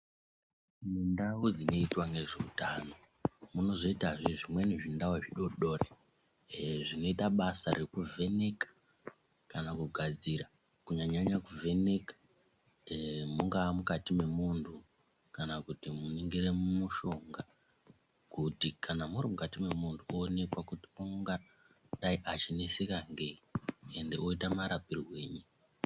Mundau dzinoitwa ngezveutano munozoitazve zvimweni zvindau zvidodori zvinoita basa rekuvheneke kana kugadzira kunyanya nyanyanya kuvheneka mungaa mukati mwemunhu kana kuningira mushonga. Kana muri mukati mwemunhu kuonekwa kuti ungadayi achineswa ngeyi uye woitwa marapirei.